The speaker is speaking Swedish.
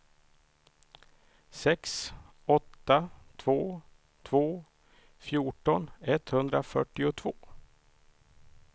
sex åtta två två fjorton etthundrafyrtiotvå